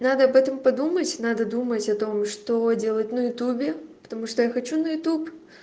надо об этом подумать надо думать о том что делать на ютубе потому что я хочу на ютуб